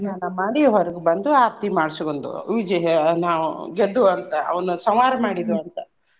ಸ್ನಾನಾ ಮಾಡಿ ಹೊರಗ್ ಬಂದು ಆರ್ತಿ ಮಾಡ್ಸಗೊಂದು ನಾವ್ ಗೆದ್ದು ಅಂತ್ ಅವ್ನ ಸಂಹಾರ ಮಾಡಿದು ಅಂತ